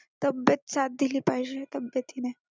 तब्बेत साथ दिली पाहिजे तब्बेतीने.